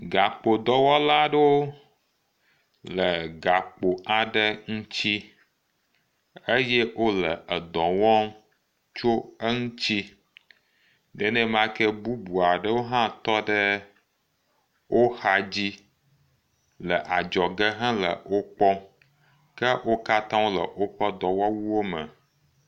Gakpodɔwɔla aɖewo le gakpo aɖe ŋuti eye wole edɔ wɔm tso eŋuti, nenemake bubu aɖewo hã tɔ ɖe wo xa dzi le adzɔge hele wo kpɔm. Ke wo katã wole woƒe dɔwɔwuwo me.